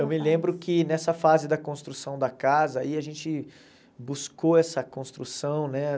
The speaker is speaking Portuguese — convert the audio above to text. Eu me lembro que nessa fase da construção da casa, aí a gente buscou essa construção, né?